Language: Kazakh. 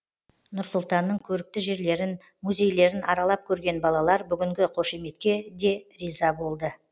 нұр сұлтанның көрікті жерлерін музейлерін аралап көрген балалар бүгінгі қошеметке де риза болды